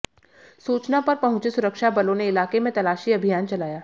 सूचना पर पहुंचे सुरक्षा बलों ने इलाके में तलाशी अभियान चलाया